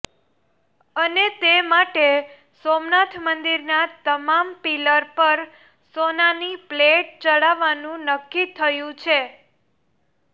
અને તે માટે સોમનાથ મંદિરના તમામ પિલ્લર પર સોનાની પ્લેટ ચડાવવાનુ નક્કી થયુ છે